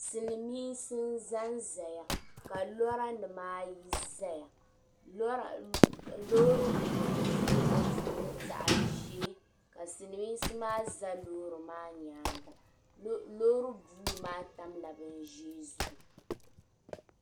Silmiinsi n zan zaya ka lɔra nima ayi zaya loori buluu ni zaɣa ʒee ka silmiinsi maa za loori maa nyaanga loori buluu maa tam la bin ʒee zuɣu.